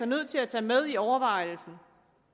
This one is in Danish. nødt til at tage med i overvejelserne